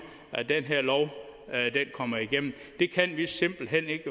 at den her lov kommer igennem det kan vi simpelt hen